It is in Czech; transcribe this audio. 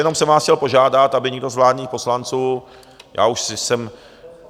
Jenom jsem vás chtěl požádat, aby někdo z vládních poslanců, já už jsem...